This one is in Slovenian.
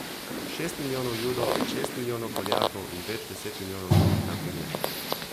Šest milijonov judov, šest milijonov Poljakov in več deset milijonov drugih na primer.